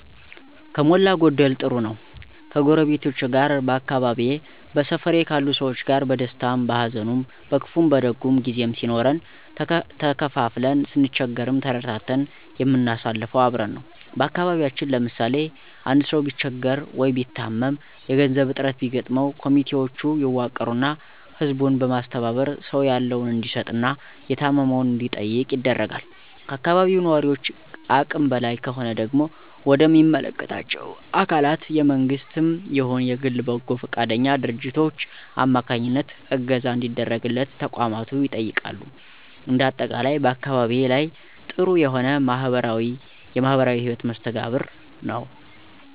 ከሞላ ጎደል ጥሩ ነው። ከጎረቤቶቼ ጋር በአካባቢየ በሰፈሬ ካሉ ሰዎች ጋር በደስታውም በሀዘኑም በክፉም በደጉም ጊዜም ሲኖረን ተካፍለን ስንቸገርም ተረዳድተን የምናሳልፈው አብረን ነው። በአካባቢያችን ለምሳሌ፦ አንድ ሰው ቢቸገር ወይ ቢታመም የገንዘብ እጥረት ቢገጥመው ኮሚቴውች ይዋቀሩና ህዝቡን በማስተባበር ሰው ያለውን እንዲሰጥ እና የታመመውን እንዲጠይቁ ይደረጋል። ከአካባቢው ነዋሪውች አቅም በላይ ከሆነ ደግሞ ወደ ሚመለከታቸው አካላት የመንግስትም ይሁን የግል በበጎ ፈቃደኛ ድርጅቶች አማካኝነት እገዛ እንዲደረግለት ተቋማቱ ይጠየቃሉ። እንደ አጠቃላይ በአካባቢየ ላይ ጥሩ የሆነ የማህበራዊ ህይወት መስተጋብር ነው።